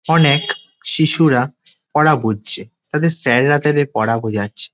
অনেক শিশুরা পড়া বুঝছে তাদের স্যার -রা তাদের পড়া বোঝাচ্ছে।